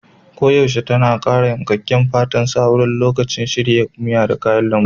Koyaushe tana ƙara yankakken fatan sa wurin lokacin shirya miya ta kayan lambu.